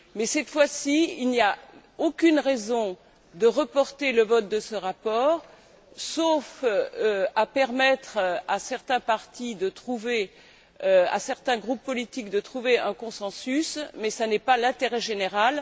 Cette fois, il n'y a aucune raison de reporter le vote de ce rapport, sauf pour permettre à certains partis, à certains groupes politiques, de trouver un consensus, mais ce n'est pas l'intérêt général.